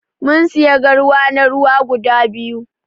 mun siya garwa na ruwa guda biyu.